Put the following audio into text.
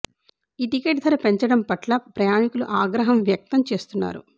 ఈ టికెట్ ధర పెంచడం పట్ల ప్రయాణికులు అగ్రం వ్యక్తం చేస్తున్నారు